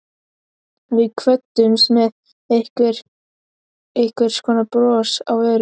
Við kvöddumst með einhvers konar bros á vörum.